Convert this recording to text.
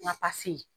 N ka pase